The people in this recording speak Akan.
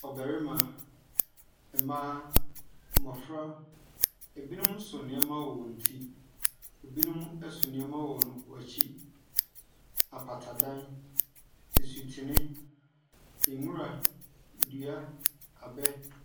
Ɔbarima, mmaa, mmɔfra, ebinom so nneɛma wɔ wɔn ti. Ebinom so nneɛma wɔ wɔn akyi. Apatadan, nsutene, nwura, dua, abɛ.